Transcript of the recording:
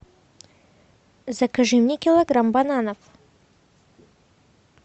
закажи мне килограмм бананов